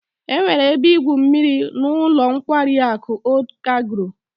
E nwere ebe igwu mmiri n'ulo nkwari aku Old Cairo